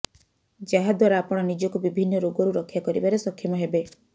ଯାହା ଦ୍ୱାରା ଆପଣ ନିଜକୁ ବିଭିନ୍ନ ରୋଗରୁ ରକ୍ଷା କରିବାରେ ସକ୍ଷମ ହେବେ